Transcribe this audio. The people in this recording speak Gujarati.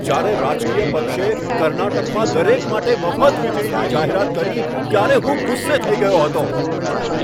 જ્યારે રાજકીય પક્ષે કર્ણાટકમાં દરેક માટે મફત વીજળીની જાહેરાત કરી, ત્યારે હું ગુસ્સે થઈ ગયો હતો.